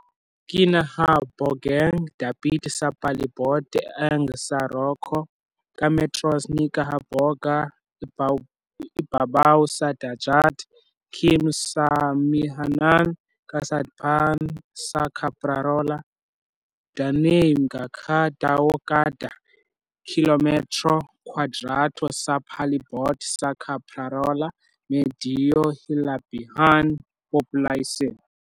Kinahabogang dapit sa palibot ang San Rocco, ka metros ni kahaboga ibabaw sa dagat, km sa amihanan-kasadpan sa Caprarola. Dunay mga ka tawo kada kilometro kwadrado sa palibot sa Caprarola medyo hilabihan populasyon.